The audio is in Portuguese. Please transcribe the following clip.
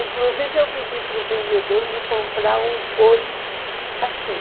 Inclusive eu pedi para o vendedor me comprar um fone assim.